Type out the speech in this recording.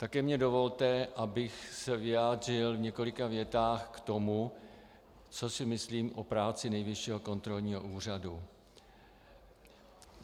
Také mi dovolte, abych se vyjádřil v několika větách k tomu, co si myslím o práci Nejvyššího kontrolního úřadu.